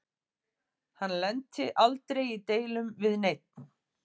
Hann lenti aldrei í deilum við neinn.